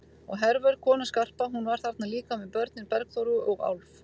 Og Hervör, kona Skarpa, hún var þarna líka með börnin, Bergþóru og Álf.